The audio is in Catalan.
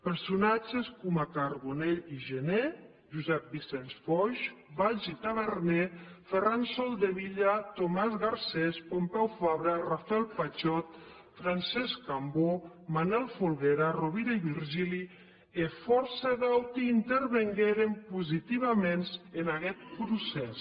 personatges coma carbonell i gener josep vicenç foix valls i taberner ferran soldevila tomàs garcés pompeu fabra rafael patxot francesc cambó manel folguera rovira i virgili e fòrça d’auti intervengueren positivaments en aguest procès